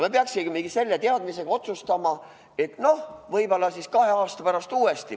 Me peaksimegi selle teadmisega otsustama, et noh, võib-olla kahe aasta pärast uuesti.